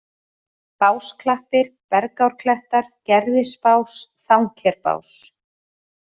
Básklappir, Bergárklettar, Gerðisbás, Þangkerbás